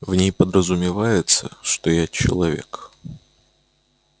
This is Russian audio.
в ней подразумевается что я человек